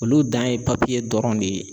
Olu dan ye dɔrɔn de ye.